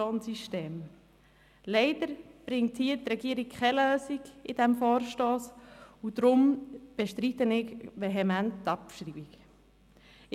Leider bringt die Regierung hier, bei diesem Vorstoss, keine Lösung, und deshalb bestreite ich die Abschreibung vehement.